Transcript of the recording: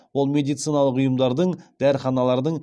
ол медициналық ұйымдардың дәріханалардың